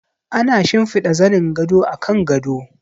Ana shimfida zanin gado a kan gado.